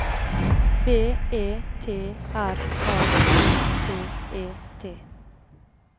B E T R A K T E T